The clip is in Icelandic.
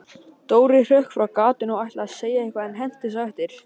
Dóri hrökk frá gatinu og ætlaði að segja eitthvað, en hentist á eftir